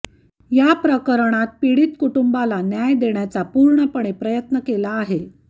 या प्रकरणात पीडित कुटुंबाला न्याय देण्याचा पूर्णपणे प्रयत्न केला आहे